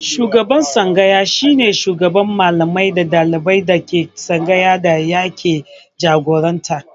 Shugaban tsangaya shi ne shugaban Mallamai da ɗaliban da ke tsangayar da yake jagoranta.